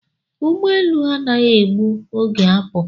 Ụgbọelu anaghị egbu oge apụ